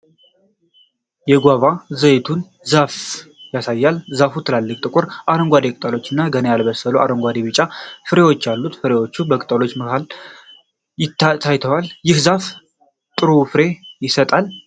የጓቫ (ዘይቱን) ዛፍን ያሳያል። ዛፉ ትላልቅ ጥቁር አረንጓዴ ቅጠሎችና ገና ያልበሰሉ አረንጓዴ-ቢጫ ፍሬዎች አሉት። ፍሬዎቹ በቅጠሎቹ መሃል ታይተዋል። ይህ ዛፍ ጥሩ ፍሬ ይሰጣል?